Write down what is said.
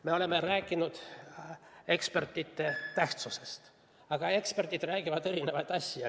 Me oleme rääkinud ekspertide tähtsusest, aga eksperdid räägivad erinevaid asju.